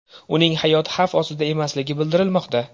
Uning hayoti xavf ostida emasligi bildirilmoqda.